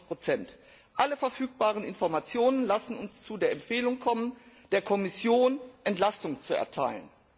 99 Alle verfügbaren Informationen lassen uns zu der Empfehlung kommen, der Kommission Entlastung zu erteilen.